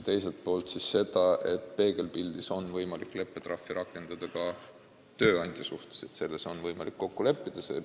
Teiselt poolt, peegelpildis on võimalik leppetrahvi rakendada ka tööandja suhtes, selles on võimalik kokku leppida.